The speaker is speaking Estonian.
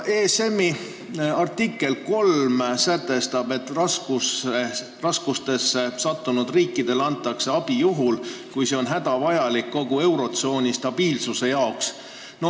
ESM-i asutamislepingu artikkel 3 sätestab, et raskustesse sattunud riikidele antakse abi juhul, kui see on hädavajalik kogu eurotsooni finantsstabiilsuse tagamiseks.